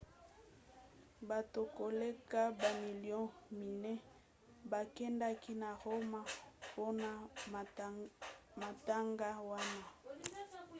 bato koleka bamilio minei bakendaki na roma mpona matanga wana